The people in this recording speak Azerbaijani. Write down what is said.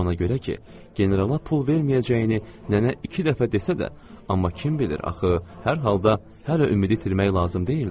Ona görə ki, generala pul verməyəcəyini nənə iki dəfə desə də, amma kim bilir axı, hər halda hələ ümidi itirmək lazım deyildi.